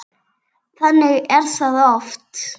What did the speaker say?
Þannig er það oft.